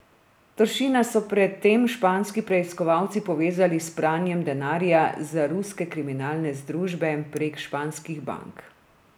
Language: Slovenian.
Toršina so pred tem španski preiskovalci povezali s pranjem denarja za ruske kriminalne združbe prek španskih bank.